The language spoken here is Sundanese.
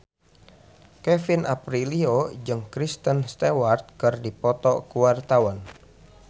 Kevin Aprilio jeung Kristen Stewart keur dipoto ku wartawan